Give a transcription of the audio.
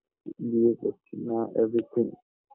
বিয়ে করছি না